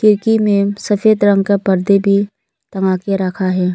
खिड़की में सफेद रंग का पर्दे भी लगा के रखा है।